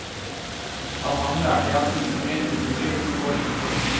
Av ham lærte jeg at ingenting er umulig hvis man går inn for det.